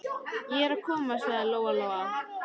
Ég er að koma, sagði Lóa Lóa.